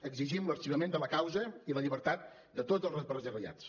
exigim l’arxivament de la causa i la llibertat de tots els represaliats